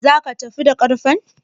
Zaka tafi da ƙarfen?